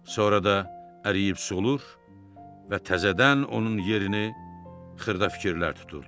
Sonra da əriyib solur və təzədən onun yerini xırda fikirlər tuturdu.